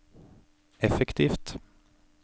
effektivt